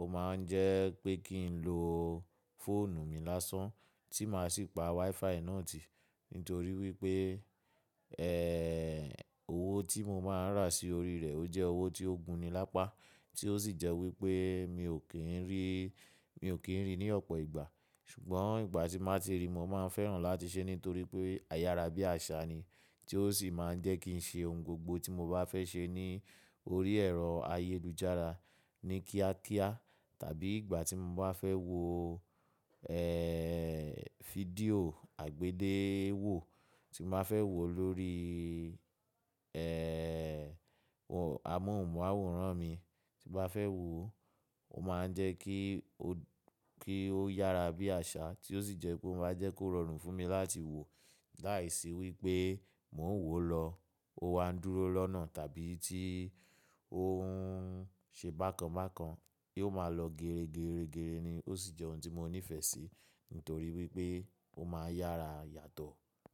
ó máa ń jẹ́ pé kí n lo fóònù mi lásán tí máa sì pa WiFi náà tì. Nítorí wípé, ẹ́, owó tí mo máa ń rà sí orí rẹ̀ ó jẹ́ owó tí ó gún ni lápá tí ó sì jẹ́ wípé mi ò kí ń rí, mi ò kí ń rí ní ọ̀pọ̀ ìgbà. Ṣùgbọ́n ìgbà tí n bá ti rí, mo máa n fẹ́ràn láti ṣe ẹ́ nítorí pé, ayára bí àṣá ni tí ó sì máa ń jẹ́ kí n ṣe ohun gbogbo tí mo bá fẹ́ ṣe ní orí ẹ̀rọ ayélujára ní kíákíá. Tàbí ìgbà tí mo bá fẹ́ wo, ẹ́, fídíò àgbéléwò tí mo bá fẹ́ wò lórí, ẹ́, amóhùnmáwòrán mi tí mo fẹ́ wò, ó máa ń jẹ́ kí ó, kí ó yára bí àṣá tí ó sì jẹ́ pé ó máa jẹ́ kó rọrùn fún mi láti wò. Láìsí wípé mò ń wò lọ, ó wa ń dúró lọ́nà tàbí tí ó ń ṣe bákan bákan kí ó máa lọ gẹrẹ, gẹrẹ, gẹrẹ ni ó sì jẹ́ ohun tí mo nífẹ̀ẹ́ sí nítorí wípé ó máa ń yára yàtọ̀